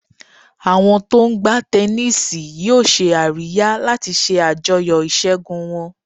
Àwọn tó ń gbá tẹníìsì yóò ṣe àríyá láti ṣe àjọyọ̀ ìṣẹ́gun wọn.